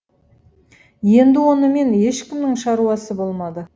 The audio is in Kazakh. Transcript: енді онымен ешкімнің шаруасы болмады